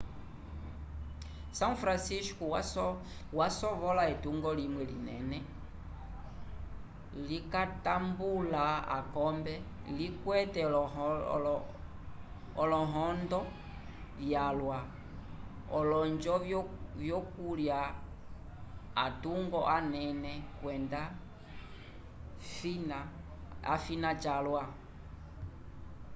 são francisco yasovola etungo limwe linene likatambula akombe likwete olohondo vyalwa olonjo vyokulya atungo anene kwenda fina calwa